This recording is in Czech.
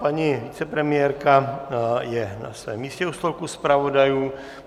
Paní vicepremiérka je na svém místě u stolku zpravodajů.